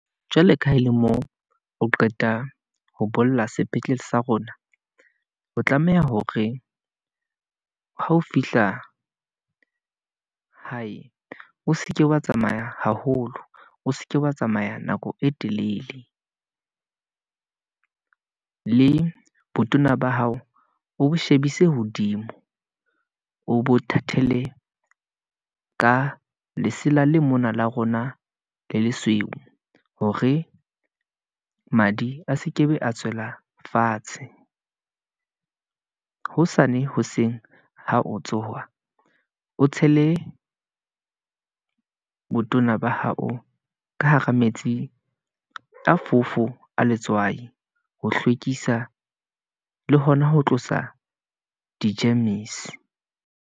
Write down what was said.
Jwalo ka ha e le moo, o qeta ho bolla sepetlele sa rona, o tlameha hore ha o fihla hae, o seke wa tsamaya haholo, o seke wa tsamaya nako e telele , le botona ba hao, o shebise hodimo, o bo thathele ka lesela, le mona la rona le lesweu. Hore madi a sekebe a tswela fatshe , hosane hoseng ha o tsoha, o tshele botona ba hao ka hara metsi a fofo a letswai, ho hlwekisa le hona ho tlosa di-germs-e.